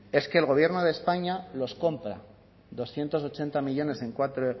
es que el gobierno de españa los compra doscientos ochenta millónes en cuatro